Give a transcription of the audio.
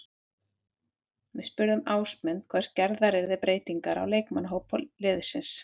Við spurðum Ásmund hvort gerðar yrði breytingar á leikmannahópi liðsins.